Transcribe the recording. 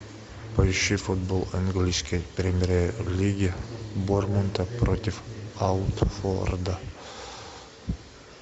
поищи футбол английской премьер лиги борнмута против уотфорда